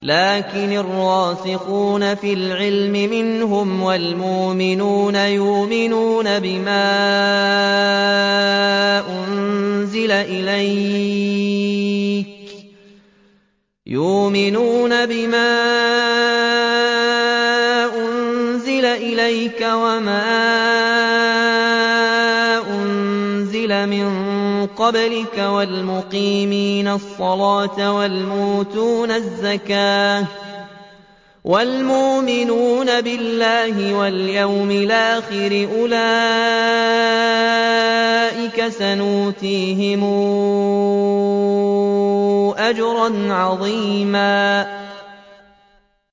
لَّٰكِنِ الرَّاسِخُونَ فِي الْعِلْمِ مِنْهُمْ وَالْمُؤْمِنُونَ يُؤْمِنُونَ بِمَا أُنزِلَ إِلَيْكَ وَمَا أُنزِلَ مِن قَبْلِكَ ۚ وَالْمُقِيمِينَ الصَّلَاةَ ۚ وَالْمُؤْتُونَ الزَّكَاةَ وَالْمُؤْمِنُونَ بِاللَّهِ وَالْيَوْمِ الْآخِرِ أُولَٰئِكَ سَنُؤْتِيهِمْ أَجْرًا عَظِيمًا